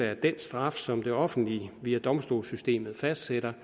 at den straf som det offentlige via domstolssystemet fastsætter